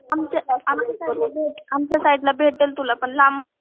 आमच्या साईडला आमच्या साईडला भेटल तुला पण लांब